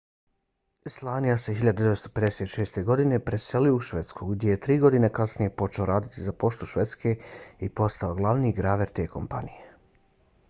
słania se 1956. godine preselio u švedsku gdje je tri godine kasnije počeo raditi za poštu švedske i postao glavni graver te kompanije